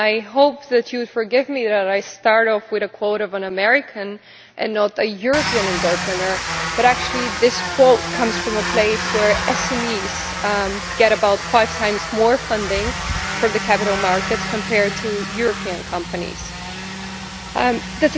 I hope that you forgive me by starting off with a quote from an American and not a European entrepreneur, but actually this quote comes from a place where SMEs get about five times more funding from the capital markets than European companies do.